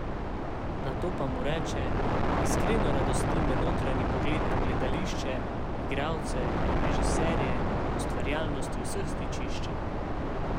Nato pa mu reče: "Iskreno radosti me notranji pogled na gledališče, igralce, režiserje, ustvarjalnosti vseh stičišče.